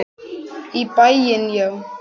Í bæinn, já!